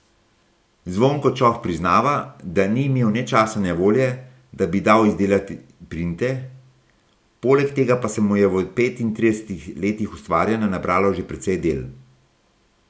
Zvonko Čoh priznava, da ni imel ne časa ne volje, da bi dal izdelati printe, poleg tega pa se mu je v petintridesetih letih ustvarjanja nabralo že precej del.